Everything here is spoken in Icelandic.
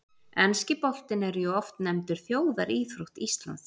Enski boltinn er jú oft nefndur þjóðaríþrótt Íslands.